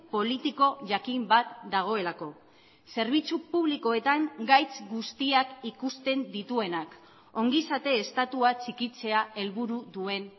politiko jakin bat dagoelako zerbitzu publikoetan gaitz guztiak ikusten dituenak ongizate estatua txikitzea helburu duen